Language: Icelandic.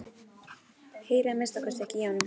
Heyri að minnsta kosti ekki í honum.